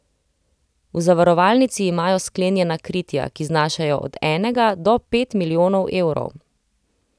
V zavarovalnici imajo sklenjena kritja, ki znašajo od enega do pet milijonov evrov.